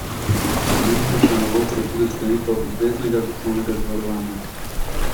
Pomembnejša novost je tudi sklenitev obveznega osnovnega zavarovanja.